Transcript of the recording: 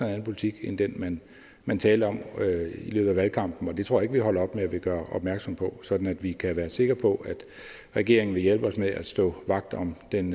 anden politik end den man talte om i løbet af valgkampen og det tror jeg ikke vi holder op med at gøre opmærksom på sådan at vi kan være sikre på at regeringen vil hjælpe os med at stå vagt om den